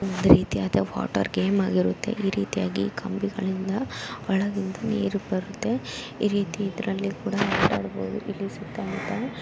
ಒಂದು ರೀತಿಯಾದ water game ಆಗಿರುತ್ತದೆ ಈ ರೀತಿಯಾಗಿ ಕಂಬಿಗಳಿಂದ ಹೊಳಗಿಂದ ನೀರು ಬರುತ್ತೆ ಈ ರೀತಿಯಲ್ಲಿ ಇದರಲ್ಲಿ ಕೂಡ ಆಟ ಆಡಬಹುದು ಇಲ್ಲಿ ಸುತ್ತ ಮುತ್ತ--